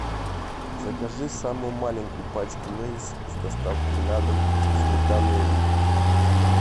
закажи самую маленькую пачку лейс с доставкой на дом сметана и лук